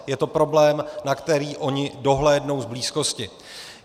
Je to problém, na který oni dohlédnou z blízkosti.